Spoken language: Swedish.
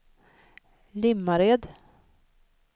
Limmared